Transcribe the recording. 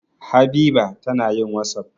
Habiba tana yin wasapp.